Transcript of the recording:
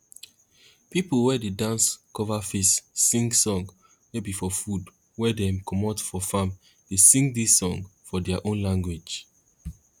pipo wey dey dance cover face sing song wey be for food wey dem comot for farm dey sing dis song for their own language